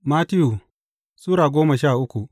Mattiyu Sura goma sha uku